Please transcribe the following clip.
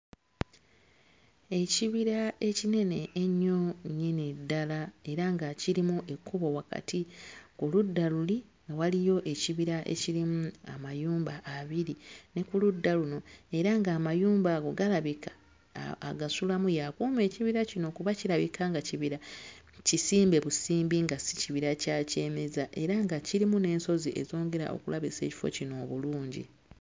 Ekibira ekinene enyo nnyini ddala era nga kirimu ekkubo wakati, ku ludda luli waliyo ekibira ekirimu amayumba abiri ne ku ludda luno, era ng'amayumba ago galabika agasulamu y'akuuma kibira kino kuba kirabika nga ekibira kisimbe busimbi nga si kibira kya kyemeza era nga kirimu n'ensozi ezongera okulabisa ekifo kino obulungi.